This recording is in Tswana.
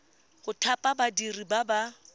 go thapa badiri ba ba